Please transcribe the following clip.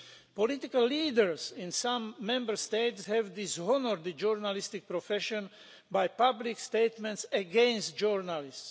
Political leaders in some Member States have dishonoured the journalistic profession by public statements against journalists.